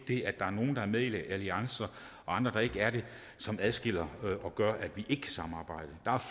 det at der er nogle der er med i alliancer og andre der ikke er det som adskiller os og gør at vi ikke kan samarbejde der